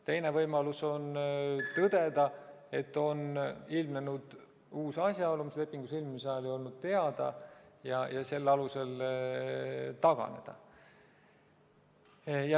Teine võimalus on tõdeda, et on ilmnenud uusi asjaolusid, mis lepingu sõlmimise ajal ei olnud teada, ja selle alusel taganeda.